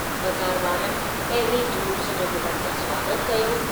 बाज़ार वारनि पहिरीं जलूस जो गुलनि सां स्वागतु कयो।